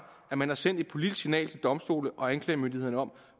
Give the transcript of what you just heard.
at man har sendt et politisk signal til domstole og anklagemyndigheden om